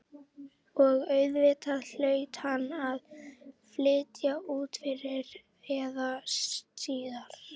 Og auðvitað hlaut hann að flytja út fyrr eða síðar.